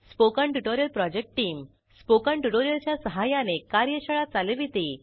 spoken tutorial project team spoken tutorial च्या सहाय्याने कार्यशाळा चालविते